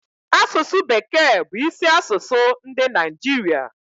asụsụ bekee bu isi asụsụ ndi Naijiria